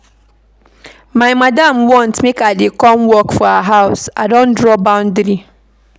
My madam want make I dey come work for her house, I don draw boundary